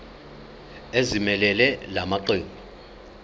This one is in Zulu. ezimelele la maqembu